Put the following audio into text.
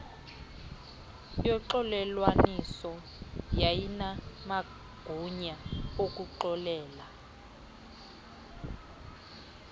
yoxolelwaniso yayinamagunya okuxolela